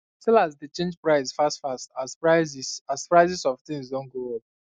sellers dey change price fast fast as prices as prices of things doh go up